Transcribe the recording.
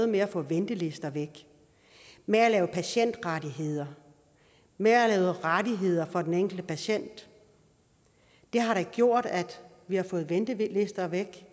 med at få ventelister væk med at lave patientrettigheder med at lave rettigheder for den enkelte patient har da gjort at vi har fået ventelister væk